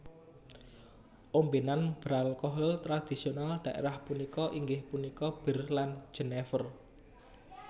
Ombenan beralkohol tradisional daerah punika inggih punika bir lan Jenever